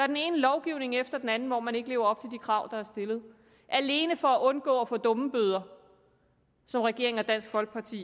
den ene lovgivning efter den anden hvor man ikke lever op til det krav der er stillet alene for at undgå at få dummebøder som regeringen og dansk folkeparti